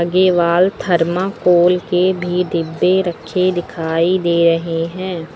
ये wall thermocol के भी डब्बे रखे दिखाई दे रहे हैं।